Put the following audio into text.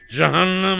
"Cəhənnəm ol!"